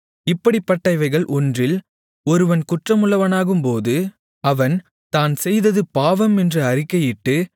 இப்படிப்பட்டவைகள் ஒன்றில் ஒருவன் குற்றமுள்ளவனாகும்போது அவன் தான் செய்தது பாவம் என்று அறிக்கையிட்டு